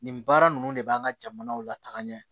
Nin baara ninnu de b'an ka jamanaw lataga ɲɛ